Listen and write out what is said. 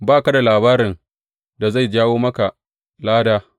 Ba ka da labarin da zai jawo maka lada.